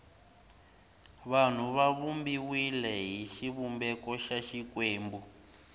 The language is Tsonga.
vanhu va vumbiwile hi xivumbeko xa xikwembu